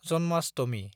Janmashtami